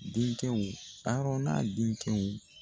Denkɛw Harɔna denkɛw.